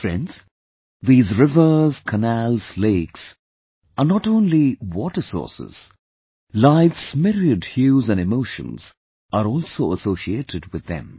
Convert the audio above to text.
Friends, these rivers, canals, lakes are not only water sources... life's myriad hues & emotions are also associated with them